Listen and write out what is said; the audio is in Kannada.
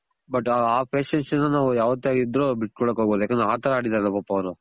but ಆ patience ನ ನಾವ್ ಯಾವತ್ತೇ ಆದ್ರು ಬಿಟ್ ಕೊಡಕ್ ಹೋಗ್ಬಾರ್ದು ಯಾಕಂದ್ರೆ ಆ ತರ ಆಡಿದಾರೆ ಪಾಪ ಅವ್ರು.